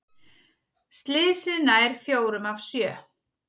Slysið nær fjórum af sjö